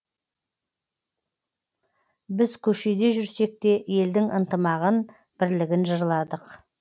біз көшеде жүрсек те елдің ынтымағын бірлігін жырладық